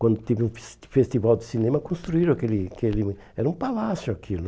Quando teve um fes festival de cinema, construíram aquele aquele... Era um palácio aquilo.